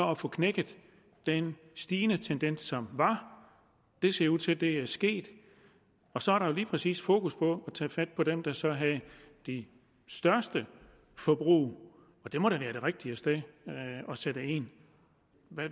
at få knækket den stigende tendens som var det ser ud til at det er sket og så er der lige præcis fokus på at tage fat på dem der så har det største forbrug og det må da være det rigtige sted at sætte ind